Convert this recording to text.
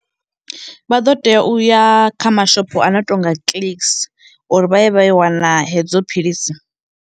Vha ḓo tea uya kha mashopho a no to nga Clicks uri vha ye vha yo wana hedzo philisi.